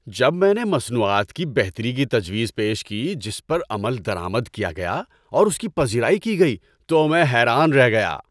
‏جب میں نے مصنوعات کی بہتری کی تجویز پیش کی جس پر عمل درآمد کیا گیا اور اس کی پذیرائی کی گئی تو میں حیران رہ گیا۔